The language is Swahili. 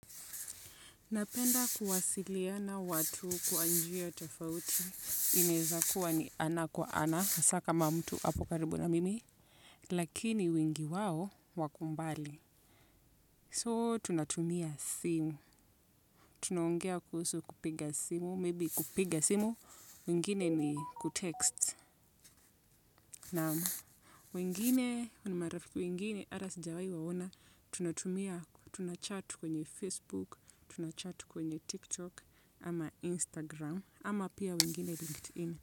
Napenda nakuwasiliana watu kwa njia tofauti inaweza kuwa ana kwa ana hasaa kama mtu ako karibu na mimi lakini wengi woa wako mbali So tunatumia simu. Tunaongea kuhusu kupiga simu. Maybe kupiga simu. Wengine ni kutext. Namu. Wengine, ni marafiki wengine ata sijawai waona. Tunatumia, tunachat kwenye Facebook. Tunachat kwenye TikTok. Ama instagram ama pia wengine.